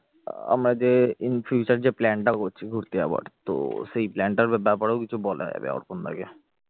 আমরা যে in future যে plan টা করছি ঘুরতে যাওয়ার তো সেই plan টার ব্যাপারেও কিছু বলার আছে অর্পণ দাকে